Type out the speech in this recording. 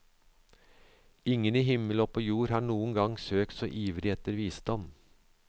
Ingen i himmel og på jord har noen gang søkt så ivrig etter visdom.